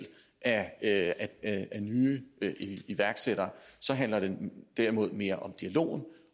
af af nye iværksættere handler det derimod mere om dialogen